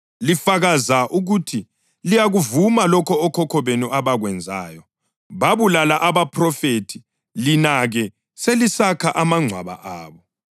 Lifakaza ukuthi liyakuvuma lokho okhokho benu abakwenzayo; bababulala abaphrofethi, lina-ke selisakha amangcwaba abo.